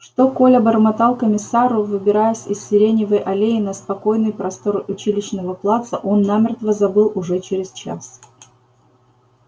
что коля бормотал комиссару выбираясь из сиреневой аллеи на спокойный простор училищного плаца он намертво забыл уже через час